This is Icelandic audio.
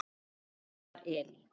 Þinn Elmar Elí.